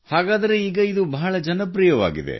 ಹಾಗಾದರೆ ಈಗ ಇದು ಬಹಳ ಜನಪ್ರಿಯವಾಗಿದೆ